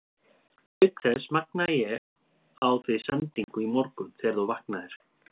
Auk þess magnaði ég á þig sendingu í morgun þegar þú vaknaðir.